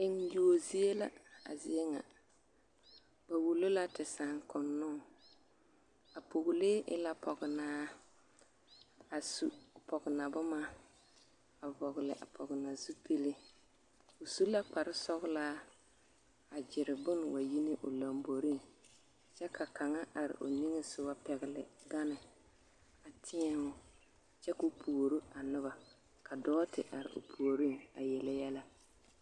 Eŋyuo zie la a zie ŋa, ba wulo la te saaŋkonnoŋ a pɔgelee e la pɔgenaa a su pɔgena boma a vɔgele a pɔgena zupili, o su la kpare sɔgelaa a gyere bone wa yi ne o lomboriŋ kyɛ ka kaŋa are o niŋesogɔ pɛgele gane a tēɛ o kyɛ k'o puoro a noba ka dɔɔ te are o puoriŋ a yele yɛlɛ.